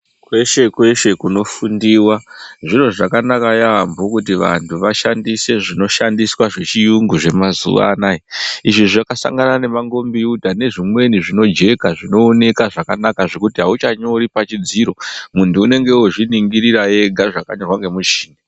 Kweshe kweshe kunofundiwa zviro zvakanaka yaambo kuti vantu vashandise zvinoshandisa zvechiyungu zvemazuwa anaye izvi zvakasangana nemangombiyuta nezvimweni zvinojeka zvinooneka zvakanaka zvekuti auchanyori pachidziro muntu unenge ozviningirira ega zvakanyorwa pamushini.